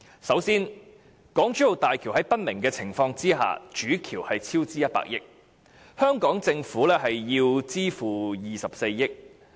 首先，港珠澳大橋主橋在不明的情況下超支100億元，香港政府須支付24億元。